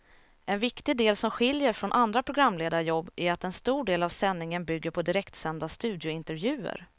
En viktig del som skiljer från andra programledarjobb är att en stor del av sändningen bygger på direktsända studiointervjuer.